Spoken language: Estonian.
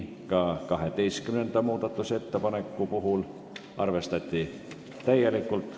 Ka 12. muudatusettepanekut arvestati täielikult.